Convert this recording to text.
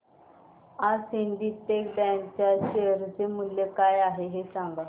आज Syndicate Bank च्या share चे मूल्य काय आहे हे सांगा